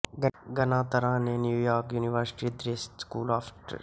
ਗਨਾਤਰਾ ਨੇ New York University Tisch School of Arts ਤੋਂ graduation ਕੀਤੀ